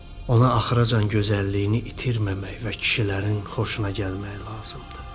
Ona axıracan gözəlliyini itirməmək və kişilərin xoşuna gəlmək lazımdır.